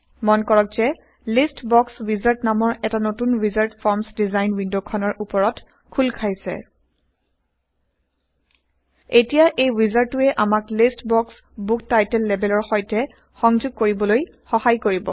মন কৰক যে লিষ্ট বস উইজাৰ্ড নামৰ এটা নতুন ৱিজাৰ্ড ফৰ্মচ ডিজাইন ৱিণ্ডখনৰ উপৰত খোলা160 খাইছে এতিয়া এই ৱিজাৰ্ডটোৱে আমাক লিষ্ট বক্সক বুক টাইটেল লেবেলৰ সৈতে সংযোগ কৰিবলৈ সহায় কৰিব